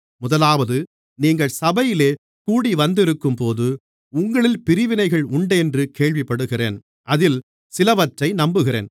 முதலாவது நீங்கள் சபையிலே கூடிவந்திருக்கும்போது உங்களில் பிரிவினைகள் உண்டென்று கேள்விப்படுகிறேன் அதில் சிலவற்றை நம்புகிறேன்